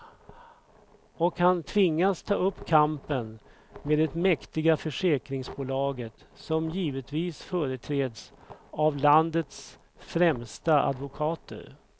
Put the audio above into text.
Och han tvingas ta upp kampen med det mäktiga försäkringsbolaget, som givetvis företräds av landets främsta advokater.